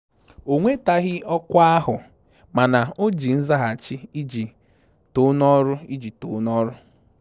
O nwetaghị ọkwa ahụ, mana o ji nzaghachi iji too n'ọrụ iji too n'ọrụ